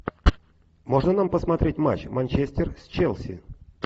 можно нам посмотреть матч манчестер с челси